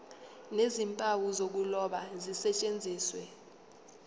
nezimpawu zokuloba zisetshenziswe